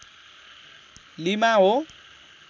lima हो